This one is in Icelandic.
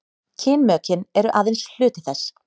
kynmökin eru aðeins hluti þess